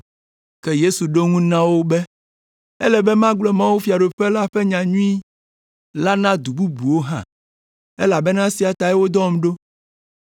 Ke Yesu ɖo eŋu na wo be, “Ele be magblɔ mawufiaɖuƒe la ƒe nyanyui la na du bubuwo hã, elabena esia tae wodɔm ɖo.”